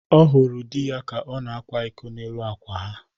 Ọ hụrụ di ya ka ọ na-akwa iko n'elu akwa ha